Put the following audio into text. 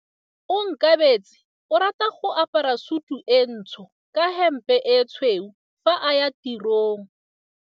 Onkabetse o rata go apara sutu e ntsho ka hempe e tshweu fa a ya tirong.